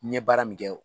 N ye baara min kɛ